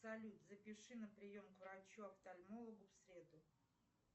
салют запиши на прием к врачу офтальмологу в среду